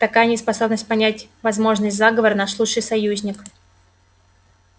такая неспособность понять возможность заговора наш лучший союзник